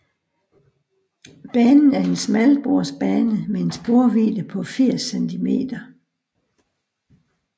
Banen er en smalsporsbane med en sporvidde på 80 cm